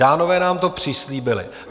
Dánové nám to přislíbili.